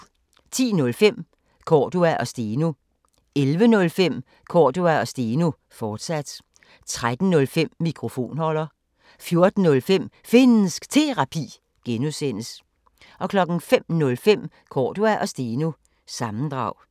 10:05: Cordua & Steno 11:05: Cordua & Steno, fortsat 13:05: Mikrofonholder 14:05: Finnsk Terapi (G) 05:05: Cordua & Steno – sammendrag